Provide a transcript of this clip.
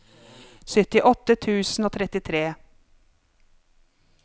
syttiåtte tusen og trettitre